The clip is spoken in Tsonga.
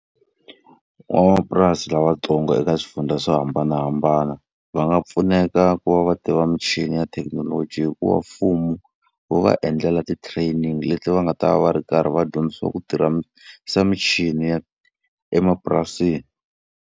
Van'wamapurasi lavatsongo eka swifundza swo hambanahambana, va nga pfuneka ku va va tiva michini ya thekinoloji hi ku va mfumo wu va endlela ti-training leti va nga ta va ri karhi va dyondzisiwa ku tirhisa michini ya emapurasini.